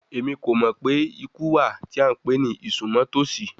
Emi ko mọ pe iku wa ti a npe ni isunmọtosi